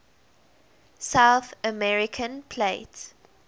south american plate